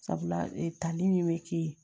Sabula e tali min be kɛ yen